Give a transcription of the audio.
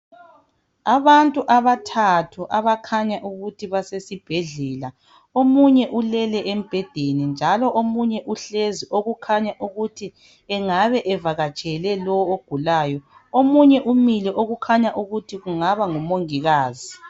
Abantu abathathu abakhanya ukuthi basesibhedlela, omunye ulele embhedeni njalo omunye uhlezi okukhanya ukuthi engabe evakatshele lo ogulayo. Omunye umile okukhanya ukuthi kungabe ngumungikazi.